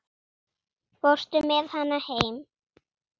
Fórstu með hana heim?